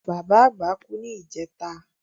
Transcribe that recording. Bàbá àgbà kú ní ìjẹta